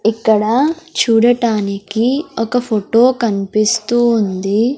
ఇక్కడ చూడటానికి ఒక ఫోటో కన్పిస్తూ ఉంది.